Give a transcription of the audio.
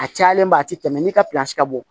A cayalenba a ti tɛmɛ ni ka ka bɔ